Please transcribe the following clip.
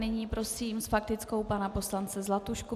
Nyní prosím s faktickou pana poslance Zlatušku.